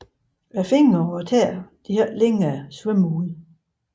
Fingre og tæer har ikke længere svømmehud